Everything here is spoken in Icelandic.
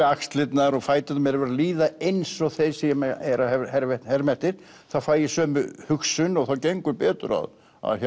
axlirnar og fæturnar mér verður að líða eins og þeim sem ég er að herma herma eftir þá fæ ég sömu hugsun og þá gengur betur að